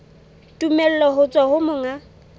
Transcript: tumello ho tswa ho monga